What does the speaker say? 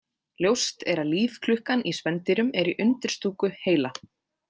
Ljóst er að lífklukkan í spendýrum er í undirstúku heila.